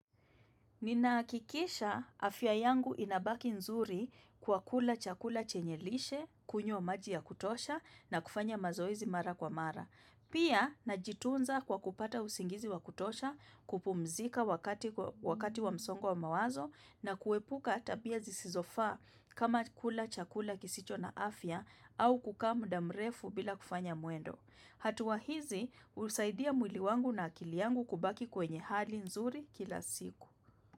Ninahakikisha afya yangu inabaki nzuri kwa kula chakula chenye lishe kunywa maji ya kutosha na kufanya mazoezi mara kwa mara. Pia najitunza kwa kupata usingizi wa kutosha kupumzika wakati wakati wa msongo wa mawazo na kuepuka tabia zisizofaa kama kula chakula kisicho na afya au kukaa muda mrefu bila kufanya mwendo. Hatua hizi husaidia mwili wangu na akili yangu kubaki kwenye hali nzuri kila siku.